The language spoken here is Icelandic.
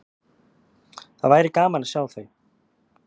Það væri gaman að sjá þau.